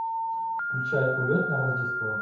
включай улетное рождество